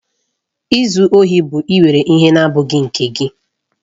Izu ohi bụ ịwere ihe na-abụghị nke gị.